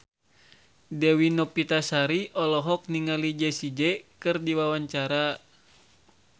Dewi Novitasari olohok ningali Jessie J keur diwawancara